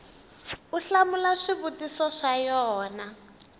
u hlamula swivutiso swa yona